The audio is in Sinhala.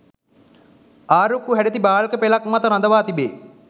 ආරුක්කු හැඩැති බාල්ක පෙළක් මත රඳවා තිබේ.